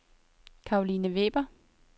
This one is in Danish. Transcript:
Caroline Weber